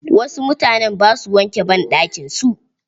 Wasu mutanen ba su wanke banɗakin su.